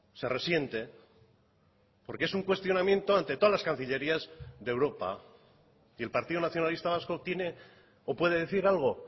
se resiente porque es un cuestionamiento ante todas las cancillerías de europa y el partido nacionalista vasco tiene o puede decir algo